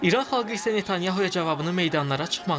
İran xalqı isə Netanyahoya cavabını meydanlara çıxmağından verdi.